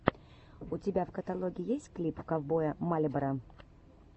у тебя в каталоге есть клип ковбоя мальборо